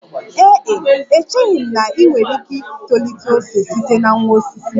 Ee e, echeghị m na ị nwere ike itolite ose site na nwa osisi